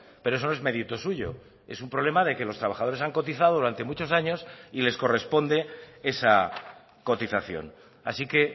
pero eso no es mérito suyo es un problema de que los trabajadores han cotizado durante muchos años y les corresponde esa cotización así que